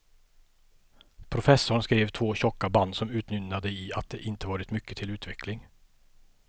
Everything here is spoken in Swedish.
Professorn skrev två tjocka band som utmynnade i att det inte varit mycket till utveckling.